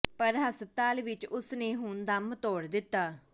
ਪਰ ਹਸਪਤਾਲ ਵਿੱਚ ਹੀ ਉਸ ਨੇ ਹੁਣ ਦਮ ਤੋੜ ਦਿੱਤਾ